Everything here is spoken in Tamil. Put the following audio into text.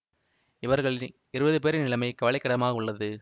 இவர்களி இருபது பேரின் நிலைமை கவலைக்கிடமாக உள்ளது